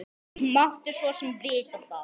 Tom hérna aftur.